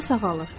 O sağalır.